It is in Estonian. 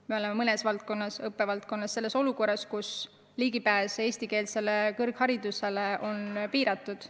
Me oleme mõnes õppevaldkonnas olukorras, kus ligipääs eestikeelsele kõrgharidusele on piiratud.